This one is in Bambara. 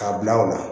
K'a bila o la